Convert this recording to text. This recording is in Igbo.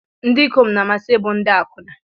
Ndị ikom na-amasị ịbụ ndị akwụna.